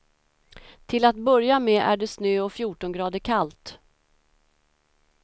Till att börja med är det snö och fjorton grader kallt.